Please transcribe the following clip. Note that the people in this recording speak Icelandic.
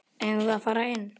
Eigum við að fara inn?